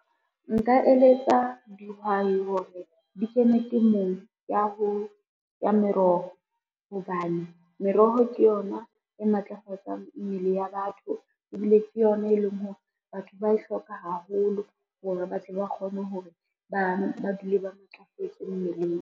Nka eletsa dihwai hore di kene temong ya meroho hobane, meroho ke yona e matlafatsang mmele ya batho, ebile ke yona e leng hore batho ba e hloka haholo hore ba tle ba kgone hore, ba dule ba matlafetse mmeleng.